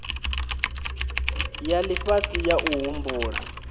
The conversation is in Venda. ya lifhasi ya u humbula